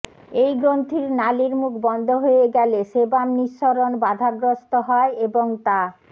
এই গ্রন্থির নালির মুখ বন্ধ হয়ে গেলে সেবাম নিঃসরণ বাধাগ্রস্ত হয় এবং তা